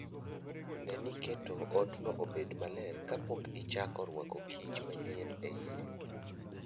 Ne ni iketo odno obed maler kapok ichako rwako kich manyien e iye.